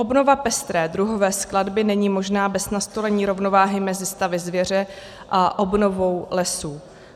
Obnova pestré druhové skladby není možná bez nastolení rovnováhy mezi stavy zvěře a obnovou lesů.